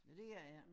Nå det gør i ikke